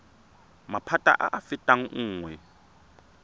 maphata a a fetang nngwe